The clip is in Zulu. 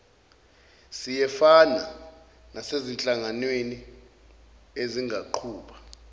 siyefana nasezinhlanganweni ezingaqhuba